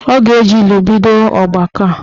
Ọ ga-eji ilu bido ọgbakọ a.